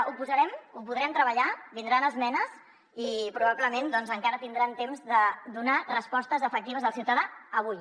ho posarem ho podrem treballar vindran esmenes i probablement doncs encara tindran temps de donar respostes efectives al ciutadà avui